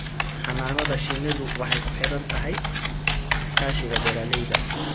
Xannaanada shinnidu waxay ku xidhan tahay iskaashiga beeralayda.